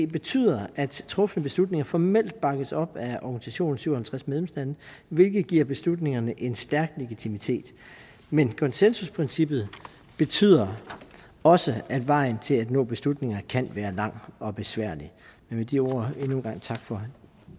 betyder at trufne beslutninger formelt bakkes op af organisationen syv og halvtreds medlemslande hvilket giver beslutningerne en stærk legitimitet men konsensusprincippet betyder også at vejen til at nå beslutninger kan være lang og besværlig men de ord endnu en gang tak for